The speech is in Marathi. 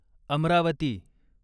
अमरावती